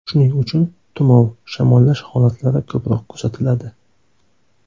Shuning uchun tumov, shamollash holatlari ko‘proq kuzatiladi.